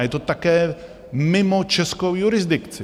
A je to také mimo českou jurisdikci!